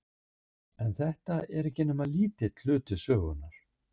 En þetta er ekki nema lítill hluti sögunnar.